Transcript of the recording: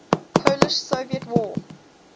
polish soviet war